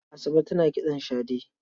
Asabe tana kitson shade.